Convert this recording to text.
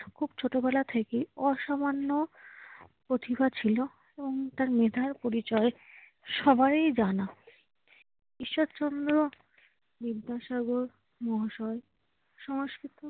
খুব ছোটবেলা থেকেই অসামান্য প্রতিভা ছিল এবং তার মেধার পরিচয় সবারই জানা। ঈশ্বরচন্দ্র বিদ্যাসাগর মহাশয় সংস্কৃত